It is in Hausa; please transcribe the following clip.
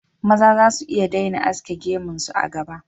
Maza za su iya daina aske gemun su, a gaba